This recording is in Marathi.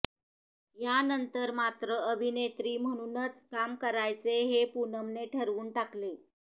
यानंतर मात्र अभिनेत्री म्हणूनच काम करायचे हे पूनमने ठरवून टाकले